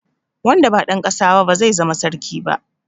Wanda ba dan ƙasa ba ba zai zama sarki ba.